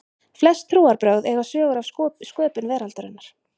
flest trúarbrögð eiga sögur af sköpun veraldarinnar